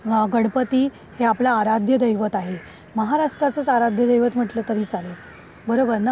गणपती हे आपलं आराध्य दैवत आहे. महाराष्ट्राचं आराध्य दैवत म्हटलं तरी चालेल. बरोबर ना?